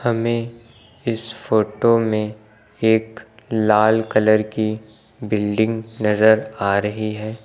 हमें इस फोटो में एक लाल कलर की बिल्डिंग नजर आ रही है।